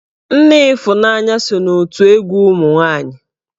Nne Ifunanya so n'otù egwu ụmụ nwaanyi.